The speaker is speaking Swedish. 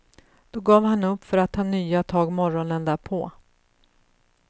Då gav han upp för att ta nya tag morgonen därpå.